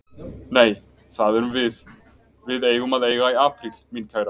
Nei, það erum við. við eigum að eiga í apríl, mín kæra.